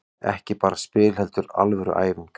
Ekki bara spil heldur alvöru æfing.